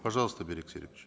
пожалуйста берик серикович